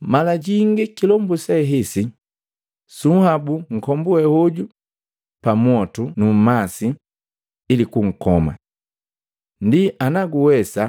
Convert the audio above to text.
“Mala jingi kilombu sehesi sunhabuki nkombu we hoju pa mwotu nu nmasi, ili kunkoma. Ndi anaguwesa,